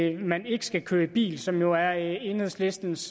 at man ikke skal køre i bil som jo er enhedslistens